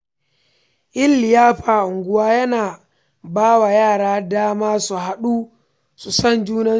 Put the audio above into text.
Yin liyafa a unguwa yana ba wa yara dama su haɗu su san junansu.